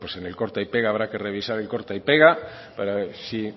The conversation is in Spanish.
pues en el corte y pega habrá que revisar el corte y pega para si